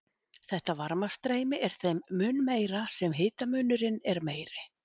Þetta varmastreymi er þeim mun meira sem hitamunurinn er meiri.